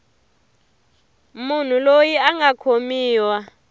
munhu loyi a nga khomiwa